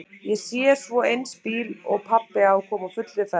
Ég sé svo eins bíl og pabbi á koma á fullri ferð.